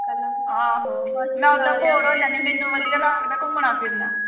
ਆਹੋ ਮੈਂ ਓਦਾਂ bore ਹੋ ਜਾਨੀ ਆਂ। ਮੈਨੂੰ ਵਧੀਆ ਲਗਦਾ, ਘੁੰਮਣਾ-ਫਿਰਨਾ